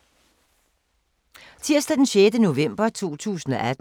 Tirsdag d. 6. november 2018